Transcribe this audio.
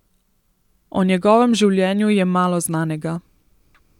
O njegovem življenju je malo znanega.